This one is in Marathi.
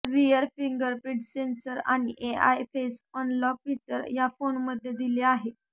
रियर फिंगरप्रिंट सेन्सर आणि एआय फेस अनलॉक फीचर या फोनमध्ये दिले आहे